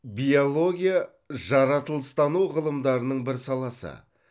биология жаратылыстану ғылымдарының бір саласы